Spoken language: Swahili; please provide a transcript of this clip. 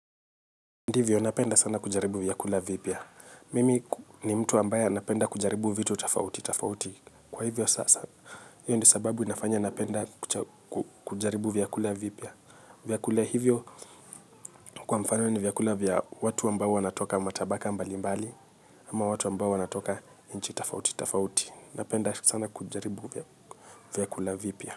Ndivyo napenda sana kujaribu vyakula vipya. Mimi ni mtu ambaye napenda kujaribu vitu tofauti tofauti. Kwa hivyo sasa hiyo ndio sababu inafanya napenda kujaribu vyakula vipya. Vyakula hivyo kwa mfano ni vyakula vya watu ambao wanatoka matabaka mbali mbali ama watu ambao wanatoka nchi tofauti tofauti. Napenda sana kujaribu vyakula vipia.